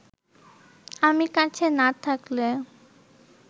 আমি কাছে না থাকলে